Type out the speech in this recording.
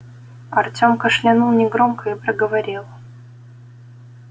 артём кашлянул негромко и проговорил